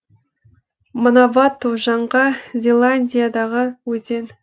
манавату жаңға зеландиядағы өзен